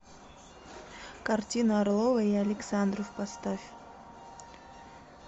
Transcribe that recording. картина орлова и александров поставь